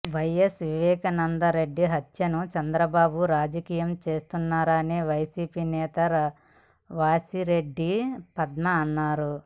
YS Vivekananda Reddy హత్యను చంద్రబాబు రాజకీయం చేస్తున్నారని వైసీపీ నేత వాసిరెడ్డి పద్మ అన్నారు